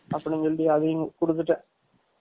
அப்டினு சொல்லி அதையும் குடுத்துடேன்